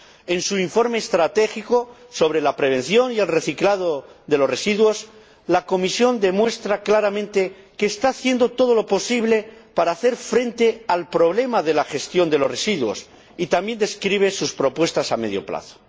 En su informe estratégico sobre la prevención y el reciclado de los residuos, la Comisión demuestra claramente que está haciendo todo lo posible para hacer frente al problema de la gestión de los residuos y también describe sus propuestas a medio plazo.